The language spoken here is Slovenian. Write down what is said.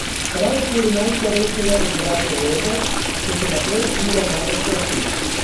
Prav okoli najstarejšega od bratov Lorbek se še naprej dviga največ prahu.